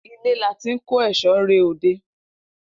Ilẹ la tin ko eso re ode.